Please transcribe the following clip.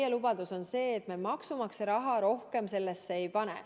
Meie lubadus on see, et me maksumaksja raha rohkem sellesse ei pane.